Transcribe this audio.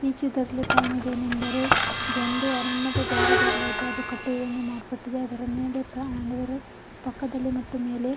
ಈ ಚಿತ್ರದಲ್ಲಿ ಕಾಣುವುದೇನೆಂದರೆ ಇದು ಒಂದು ಅರಣ್ಯದ ದ್ವಾರ ಬಾಗಿಲು ಅಯ್ತೆ ಅದು ಕಟ್ಟೆ ಮಾಡಲ್ಪಟ್ಟಿದೆ ಅದರ ಮೇಲೆ ಪಕ್ಕದಲ್ಲಿ ಮತ್ತೆ ಮೇಲೆ--